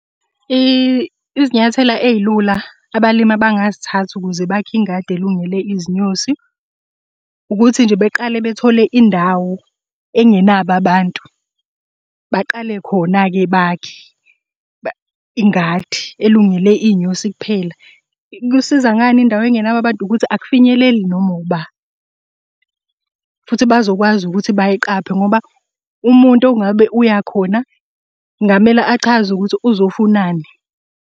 Izinyathela ey'lula abalimi abangazithatha ukuze bakhe ingadi elungele izinyosi, ukuthi nje beqale bethole indawo engenabo abantu. Baqale khona-ke bakhe ingadi elungele iy'nyosi kuphela. Kusiza ngani indawo engenabo abantu? Ukuthi akufinyeleli noma uba, futhi bazokwazi ukuthi bayiqaphe ngoba umuntu ongabe uyakhona kungamele achaze ukuthi uzofunani.